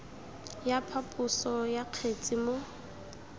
ya phaposo ya kgetse mo